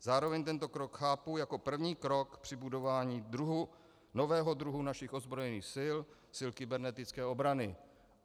Zároveň tento krok chápu jako první krok při budování nového druhu našich ozbrojených sil, sil kybernetické obrany.